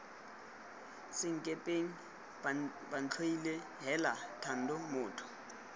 senkepeng bantlhoile heela thando motho